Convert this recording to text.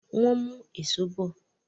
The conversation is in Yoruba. wón mú Èṣó bọ.